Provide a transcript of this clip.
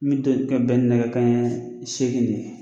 Min to ye ka bɛ ni nɛgɛ kan ɲɛ seegin de ye.